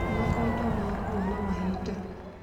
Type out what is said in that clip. Makondo makũa na mahinda.